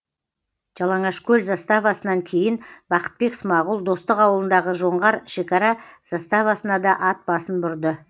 жалаңашкөл заставасынан кейін бақытбек смағұл достық ауылындағы жоңғар шекара заставасына да ат басын бұрды